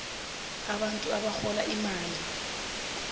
abantu abarhola imali